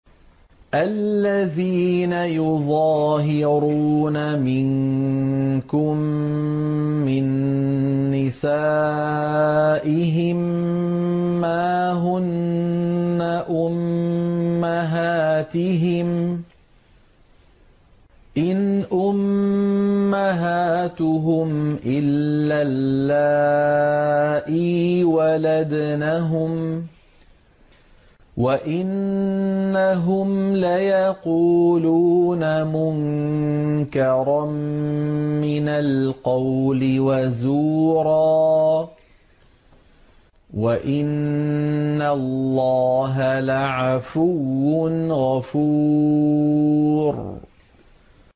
الَّذِينَ يُظَاهِرُونَ مِنكُم مِّن نِّسَائِهِم مَّا هُنَّ أُمَّهَاتِهِمْ ۖ إِنْ أُمَّهَاتُهُمْ إِلَّا اللَّائِي وَلَدْنَهُمْ ۚ وَإِنَّهُمْ لَيَقُولُونَ مُنكَرًا مِّنَ الْقَوْلِ وَزُورًا ۚ وَإِنَّ اللَّهَ لَعَفُوٌّ غَفُورٌ